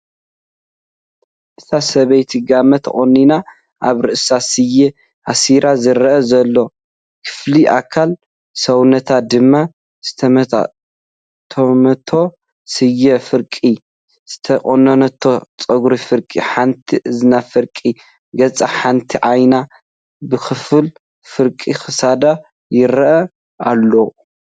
እታ ሰበይቲ ጋመ ተቆኒና ኣብ ርእሳ ስየ ኣሲራ ዝረአ ዘሎ ክፍሊ ኣካል ሰውነታ ድማ ዝጠምጠመቶ ስየ ፍርቂ፣ ዝተቆነነቶ ፀጉራ ፍርቂ ሓንቲ እዝኒ፣ ፍርቂ ገፃ ፣ሓንቲ ዓይና ብክፋል፣ ፍርቂ ክሳዳ ይረአ ኣሎ፡፡